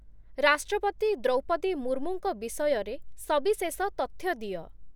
ରାଷ୍ଟ୍ରପତି ଦ୍ରୌପଦୀ ମୁର୍ମୁଙ୍କ ବିଷୟରେ ସବିଶେଷ ତଥ୍ୟ ଦିଅ